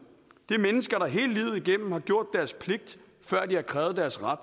det er mennesker der hele livet igennem har gjort deres pligt før de har krævet deres ret